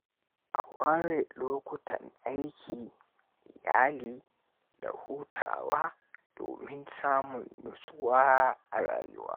A ware lokutan aiki, iyali, da hutawa domin samun nutsuwa a rayuwa.